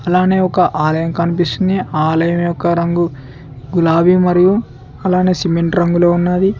అలానే ఒక ఆలయం కనిపిస్తుంది ఆలయం యొక్క రంగు గులాబీ మరియు అలానే సిమెంట్ రంగులో ఉన్నాది.